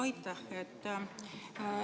Aitäh!